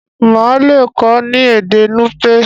Má le kọ ni èdè nupe.